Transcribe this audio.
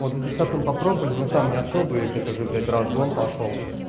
вот в десятом попробовали но там не особо я тебя тоже блять разгон пошёл